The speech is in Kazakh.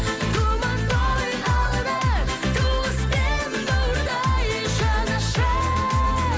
думан той алда туыс пен бауырдай жанашыр